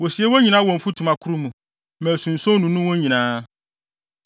Wosie wɔn nyinaa wɔ mfutuma koro mu, ma asunson nnunu wɔn nyinaa.